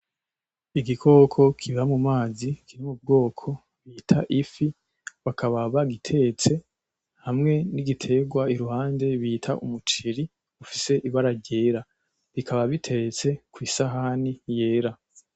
Igikoko kiba mu mazi kiri mubwoko bita ifi, bakaba bagitetse, hamwe n'igiterwa iruhande bita umuceri ufise ibara ryera, bikaba biteretse kwisahani yera.